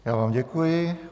Já vám děkuji.